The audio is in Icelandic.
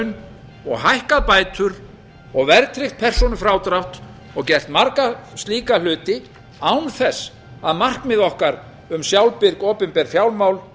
laun og hækkað bætur og verðtryggt persónufrádrátt og gert marga slíka hluti án þess að markmið hvar um sjálfbirg opinber fjármál